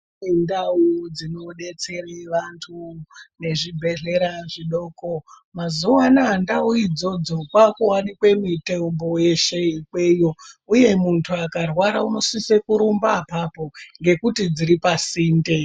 Ndau dzinodetsere antu nezvibhehleya zvidoko mazuvana ndau idzodzo kwakuwanike mitombo yeshe ikweyo uye muntu akarwara unosisa kurumba apapo ngekuti dziri pasinde.